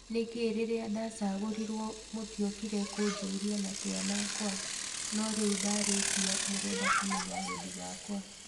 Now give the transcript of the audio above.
Nĩkĩĩ rĩrĩa ndacagũrirwe mũtĩokire kũjuria matua makwa no rĩũ ndarĩkia mũrenda kumenya wendi wakwa".